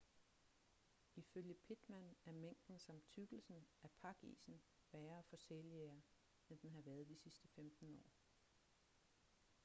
ifølge pittman er mængden samt tykkelsen af pakisen værre for sæljægere end den har været de sidste 15 år